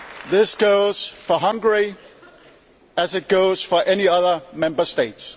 This goes for Hungary as it goes for any other Member State.